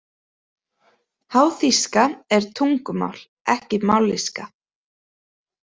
Háþýska er tungumál ekki mállýska.